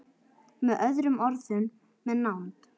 Með öðrum orðum- með nánd.